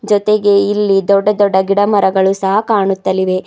ಜೊತೆಗೆ ಇಲ್ಲಿ ದೊಡ್ಡ ದೊಡ್ಡ ಗಿಡಮರಗಳು ಸಹ ಕಾಣುತ್ತಳಿವೆ.